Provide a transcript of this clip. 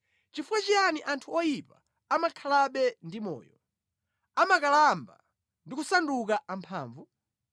Chifukwa chiyani anthu oyipa amakhalabe ndi moyo, amakalamba ndi kusanduka amphamvu?